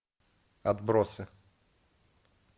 отбросы